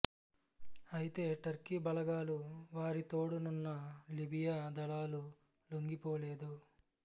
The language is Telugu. అయితే టర్కీ బలగాలు వారి తోడునున్న లిబియా దళాలు లొంగిపోలేదు